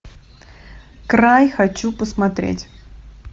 край хочу посмотреть